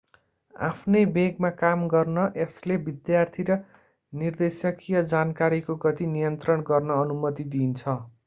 आफ्नै वेगमा काम गर्न यसले विद्यार्थी र निर्देशकीय जानकारीको गति नियन्त्रण गर्न अनुमति दिन्छ